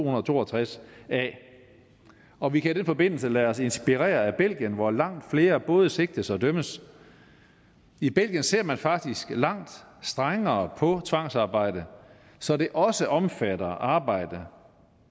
og to og tres a og vi kan i den forbindelse lade os inspirere af belgien hvor langt flere både sigtes og dømmes i belgien ser man faktisk langt strengere på tvangsarbejde så det også omfatter arbejde